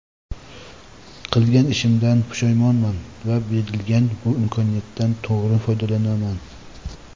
Qilgan ishimdan pushaymonman va berilgan bu imkoniyatdan to‘g‘ri foydalanaman.